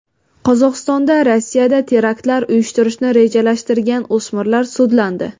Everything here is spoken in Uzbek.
Qozog‘istonda Rossiyada teraktlar uyushtirishni rejalashtirgan o‘smirlar sudlandi.